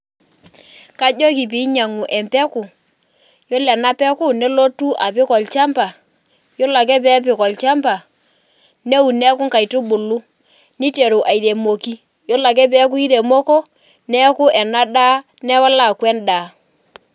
Kajoki pee inyianku embeku, ore ena peku nelotu apik olchamba. Ore ake peepik olchamba neun neeku inkaitubulu niteru airemoki, ore ake peeku iremeko newala aaku endaa.